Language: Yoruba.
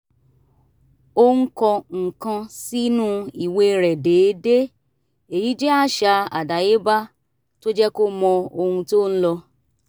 ó ń kọ nǹkan sínú ìwé rẹ̀ déédéé èyí jẹ́ àṣà àdáyéba tó jẹ́ kó mọ ohun tó ń lọ